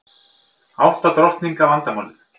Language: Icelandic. Átta drottninga vandamálið